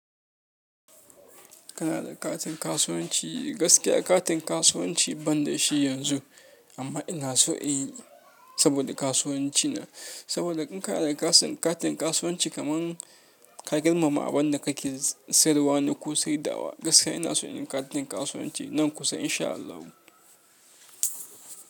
Kana da katin kasuwanci? Gaskiya katin kasuwanci ban da shi yanzu, amma ina so in yi saboda kasuwanci na. Saboda in kana da katin kasuwanci kamar ka girmama abin da kake sayarwa ne ko saidawa. Gaskiya ina so in yi katin kasuwanci nan kusa in sha Allah.